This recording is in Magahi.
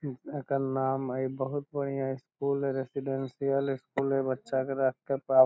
इ एकर नाम हेय बहुत बढ़िया स्कूल हेय रेजिडेंशियल स्कूल है बच्चा के राख के --